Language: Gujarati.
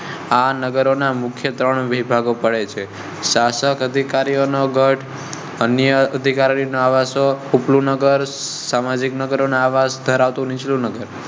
આ નગર ના ત્રણ મુખ્ય વિભાગો પડે છે. શાસક અધિકારીઓ નો ગઢ, અન્ય અધિકારીઓ નો આવશો, ઉપલું નગર, સામાજિક નગર નો આવશ ધરાવતા નીચલું નગર